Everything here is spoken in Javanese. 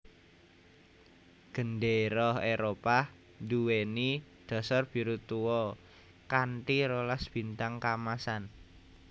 Gendéra Éropah nduwèni dasar biru tua kanthi rolas bintang kaemasan